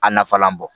A nafalan bɔ